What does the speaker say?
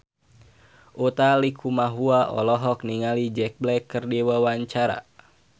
Utha Likumahua olohok ningali Jack Black keur diwawancara